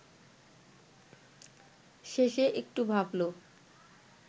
শেষে একটু ভাবল